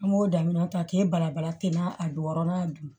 An b'o daminɛ ta k'e bala bala ten n'a a don wɔɔrɔnan dun